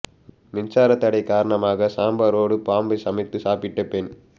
மின்சாரத் தடை காரணமாக சாம்பாரோடு பாம்பை சமைத்து சாப்பிட்ட பெண்